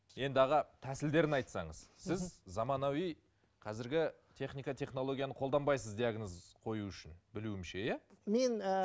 енді аға тәсілдерін айтсаңыз сіз заманауи қазіргі техника технологияны қолданбайсыз диагноз қою үшін білуімше иә мен ыыы